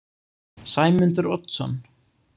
Sæmundur Oddsson